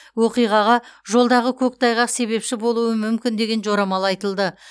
оқиғаға жолдағы көктайғақ себепші болуы мүмкін деген жорамал айтылды